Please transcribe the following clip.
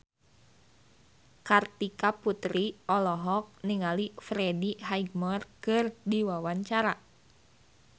Kartika Putri olohok ningali Freddie Highmore keur diwawancara